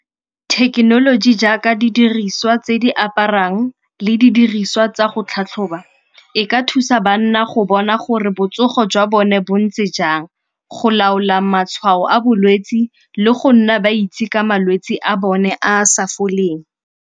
Thekenoloji jaaka didiriswa tse di aparang le didiriswa tsa go tlhatlhoba e ka thusa banna go bona gore botsogo jwa bone bo ntse jang, go laola matshwao a bolwetsi le go nna ba itse ka malwetsi a bone a a sa foleng.